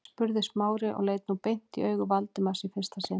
spurði Smári og leit nú beint í augu Valdimars í fyrsta sinn.